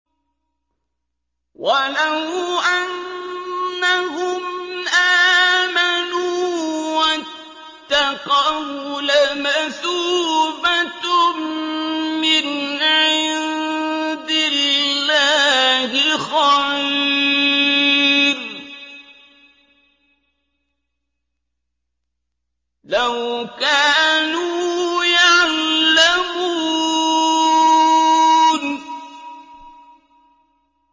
وَلَوْ أَنَّهُمْ آمَنُوا وَاتَّقَوْا لَمَثُوبَةٌ مِّنْ عِندِ اللَّهِ خَيْرٌ ۖ لَّوْ كَانُوا يَعْلَمُونَ